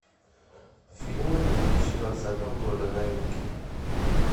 фильмы две тысячи двадцатого года новинки